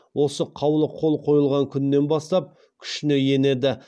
осы қаулы қол қойылған күннен бастап күшіне енеді